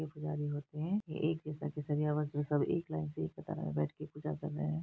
ये पुजारी होते हैं । सब एक लाइन से एक कतार में बैठ के पूजा कर रहे हैं।